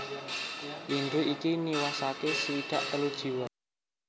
Lindhu iki niwasaké swidak telu jiwa